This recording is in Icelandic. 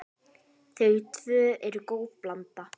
Þau tvö eru góð blanda.